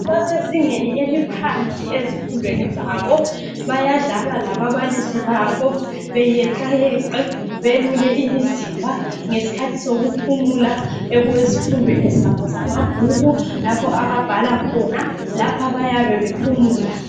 Basezingeni eliphansi ezifundweni zabo. Bayadlala lababalisi babo, beyeqayeqe, belule imizimba ngesikhathi sokuphumula okwezifundweni zabo zamabhuku lapho ababhala khona. Lapha bayabe bephumula.